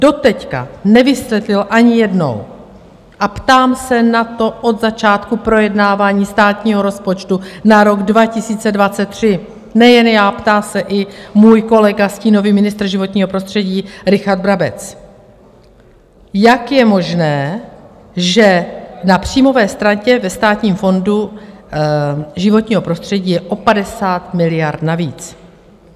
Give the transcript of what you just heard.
Doteď nevysvětlil ani jednou - a ptám se na to od začátku projednávání státního rozpočtu na rok 2023 nejen já, ptá se i můj kolega, stínový ministr životního prostředí Richard Brabec - jak je možné, že na příjmové straně ve Státním fondu životního prostředí je o 50 miliard navíc.